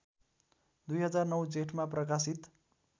२००९ जेठमा प्रकाशित